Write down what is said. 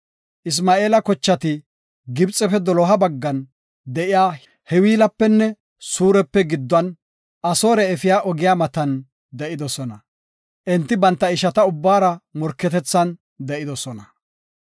Isma7eela kocheti Gibxefe doloha baggan de7iya Hawilapenne Suurape gidduwan, Asoore efiya ogiya matan de7idosona. Enti banta ishata ubbara morketethan de7idosona.